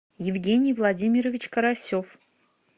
евгений владимирович карасев